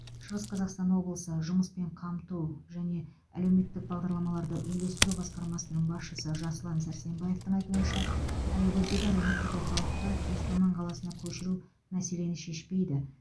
шығыс қазақстан облысы жұмыспен қамту және әлеуметтік бағдарламаларды үйлестіру басқармасының басшысы жасұлан сәрсебаевтың айтуынша аягөздегі әлеуметтік орталықты өскемен қаласына көшіру мәселені шешпейді